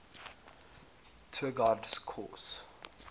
tour guide course